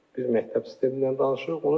Biz məktəb sistemindən danışırıq.